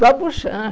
Do Abujam.